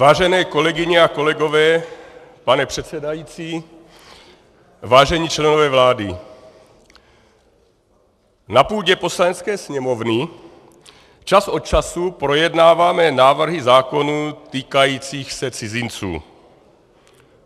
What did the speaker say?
Vážené kolegyně a kolegové, pane předsedající, vážení členové vlády, na půdě Poslanecké sněmovny čas od času projednáváme návrhy zákonů týkajících se cizinců.